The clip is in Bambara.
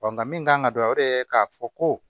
nka min kan ka don o de k'a fɔ ko